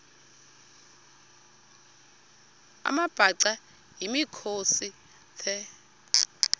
amabhaca yimikhosi the